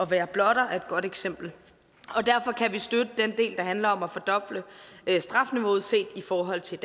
være blotter er et godt eksempel derfor kan vi støtte den del der handler om at fordoble strafniveauet set i forhold til